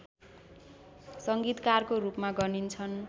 सङ्गीतकारको रूपमा गनिन्छन्